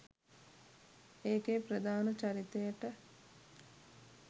ඒකේ ප්‍රධාන චරිතයට